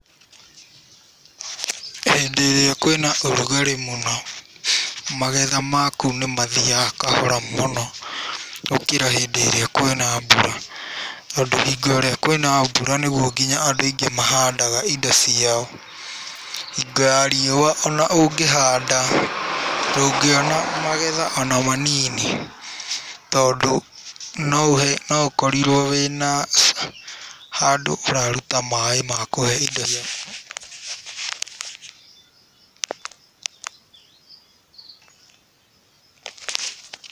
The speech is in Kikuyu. Hĩndĩ ĩrĩa kwĩna ũrugarĩ mũno magetha ma kũu nĩ mathiaga kahora mũno gũkĩra hĩndĩ ĩrĩa kwĩna mbura. Tondũ hingo ĩrĩa kwĩna mbura nĩrĩo andũ aingĩ mahandaga indo ciao. Hingo ya rĩũa ona ũngĩhanda ndungĩona magetha ona manini. Tondũ no ũkorirwo wĩna handũ ũraruta maaĩ ma kũhee indo ciaku.